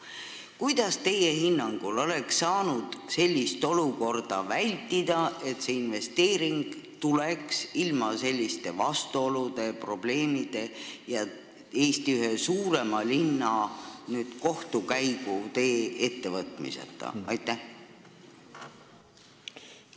Kuidas oleks teie hinnangul saanud sellist olukorda vältida, et see investeering oleks tulnud siia ilma vastuoludeta, probleemideta ja Eesti ühe suurema linna kohtutee ettevõtmiseta?